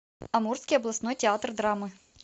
амурский областной театр драмы